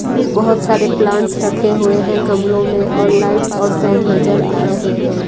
बहोत सारे प्लांट्स रखे हुए हैं गमले में और लाइट्स और फैन नजर आ रहे हैं।